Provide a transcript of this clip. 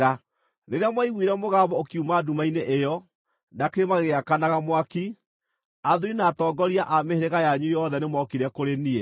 Rĩrĩa mwaiguire mũgambo ũkiuma nduma-inĩ ĩyo, na kĩrĩma gĩgĩakanaga mwaki, athuuri na atongoria a mĩhĩrĩga yanyu yothe nĩmookire kũrĩ niĩ.